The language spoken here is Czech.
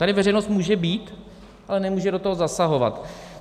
Tady veřejnost může být, ale nemůže do toho zasahovat.